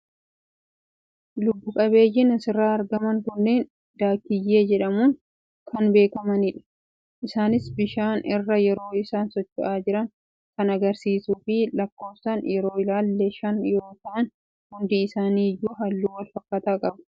Lubbu-qabeeyyiin asirraa argaman kunneen daakiyyee jedhamuun kan beekamanidha. Isaaniis bishaan irra yeroo isaan socho'aa jiran kan agarsiisuu fi lakkoofsaan yoo ilaalle shan yoo tahan hundi isaanii iyyuu halluu wal fakkaataa qabu.